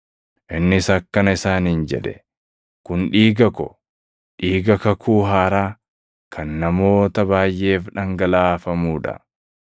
Innis akkana isaaniin jedhe; “Kun dhiiga ko, dhiiga kakuu haaraa kan namoota baayʼeef dhangalaafamuu dha.